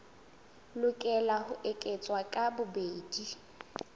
lokela ho eketswa ka bobedi